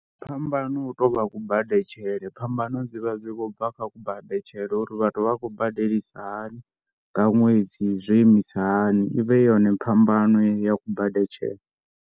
Phambano hu tou vha kubadetshele, phambano dzi vha dzi khou bva kha kubadetshele uri vhathu vha khou badelisa hani nga ṅwedzi zwo imisa hani. I vha i yone phambano ya kubadetshele.